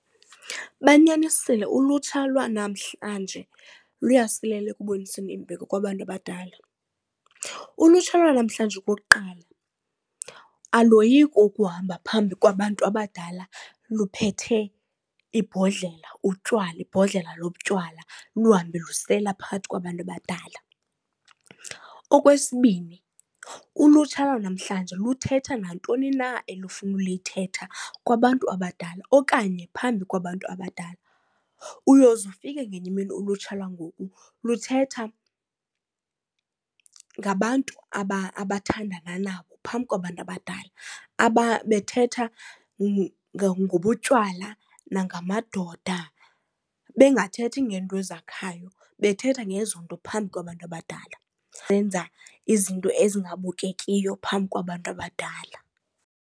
Banyanisile ulutsha lwanamhlanje luyasilela ekuboniseni imbeko kwabantu abadala. Ulutsha lwanamhlanje, okokuqala, aloyiki ukuhamba phambi kwabantu abadala luphethe ibhodlela, utywala, ibhodlela lobutywala luhambe lusela phakathi kwabantu abadala. Okwesibini, ulutsha lwanamhlanje luthetha nantoni na elifuna ulithetha kwabantu abadala okanye phambi kwabantu abadala. Uyoze ufike ngenye imini ulutsha lwangoku luthetha ngabantu abathandana nabo phambi kwabantu abadala bethetha ngobutywala nangamadoda, bengathethi ngeento ezakhayo bethetha ngezonto phambi kwabantu abadala. Benza izinto ezingabukekiyo phambi kwabantu abadala.